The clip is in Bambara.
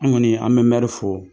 An kɔni an bɛ mɛri fo.